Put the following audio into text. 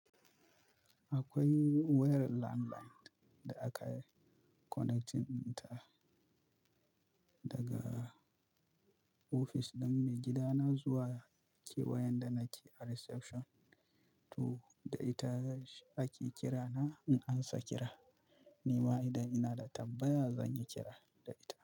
Akwai wayar landline da aka connecting ta daga ofis ɗin maigidana zuwa kewayan da nake a reception to da ita ake kira na in an sa kira. Ni ma idan ina da tambaya zan yi kira da ita.